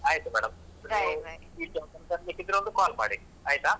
ಆಯ್ತು madam ಈ ಕಡೆ ಬರ್ಲಿಕ್ಕೆ ಇದ್ರೆ ಒಂದು call ಮಾಡಿ ಆಯ್ತಾ?